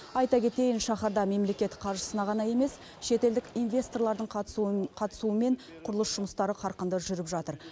айта кетейін шаһарда мемлекет қаржысына ғана емес шетелдік инвесторлардың қатысуымен құрылыс жұмыстары қарқынды жүріп жатыр